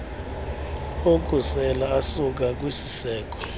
okusela asuka kwisiseko